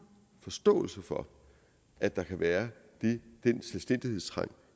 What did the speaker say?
forståelse for at der kan være den selvstændighedstrang